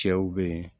Cɛw be yen